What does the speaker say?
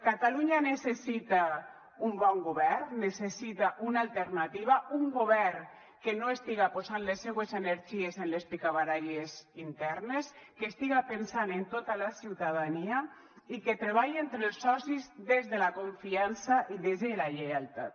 catalunya necessita un bon govern necessita una alternativa un govern que no estiga posant les seues energies en les picabaralles internes que estiga pensant en tota la ciutadania i que treballe entre els socis des de la confiança i des de la lleialtat